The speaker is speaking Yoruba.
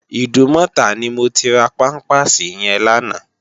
Idúmòtá ni mó ti rá pàmpásí yèn làná